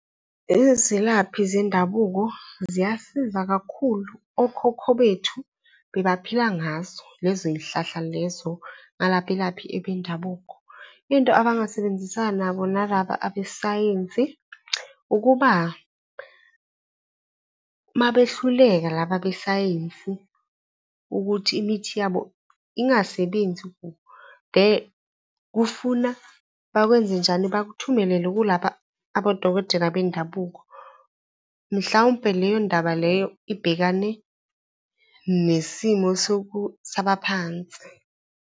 Izilaphi zendabuko ziyasiza kakhulu, okhokho bethu bebaphila ngazo lezo y'hlahla lezo nalabelaphi abendabuko. Into abangasebenzisana nabo nalaba abesayensi, ukuba uma behluleka laba besayensi ukuthi imithi yabo ingasebenzi . Kufuna bakwenze njani? Bakuthumelele kulaba abodokotela bendabuko, mhlawumpe leyo ndaba leyo ibhekane nesimo sabaphansi.